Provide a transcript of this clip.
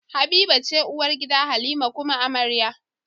Habiba ce uwar gida halima kuma amarya